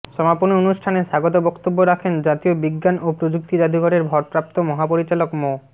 সমাপনী অনুষ্ঠানে স্বাগত বক্তব্য রাখেন জাতীয় বিজ্ঞান ও প্রযুক্তি জাদুঘরের ভারপ্রাপ্ত মহাপরিচালক মো